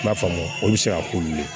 I b'a faamu olu bɛ se ka k'olu ye